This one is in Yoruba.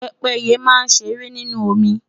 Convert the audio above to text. pépéye ma n ṣere ninu omi